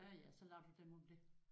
Ja ja så lader du dem om det